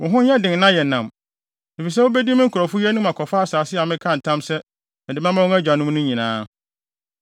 Wo ho nyɛ den na yɛ nnam, efisɛ wubedi me nkurɔfo yi anim akɔfa asase a mekaa ntam sɛ mede bɛma wɔn agyanom no nyinaa.